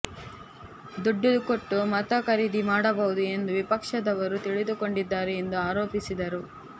ದುಡ್ಡು ಕೊಟ್ಟು ಮತ ಖರೀದಿ ಮಾಡಬಹುದು ಎಂದು ವಿಪಕ್ಷದವರು ತಿಳಿದುಕೊಂಡಿದ್ದಾರೆ ಎಂದು ಆರೋಪಿಸಿದರು